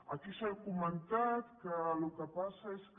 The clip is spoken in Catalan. aquí s’ha comentat que el que passa és que